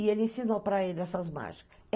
E ele ensinou para ele essas mágicas.